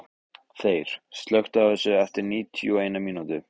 Þeyr, slökktu á þessu eftir níutíu og eina mínútur.